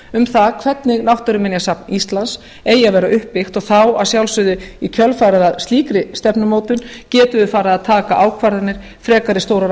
um það hvernig náttúruminjasafn íslands eigi að vera uppbyggt og þá að sjálfsögðu í kjölfarið á slíkri stefnumótun getum við farið að taka ákvarðanir frekari stórar